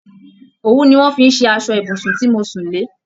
Òwú ni wọn fi ṣe aṣọ ibùsùn tí mo sún le